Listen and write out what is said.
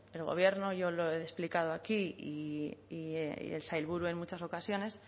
el gobierno yo lo he explicado aquí y el sailburu en muchas ocasiones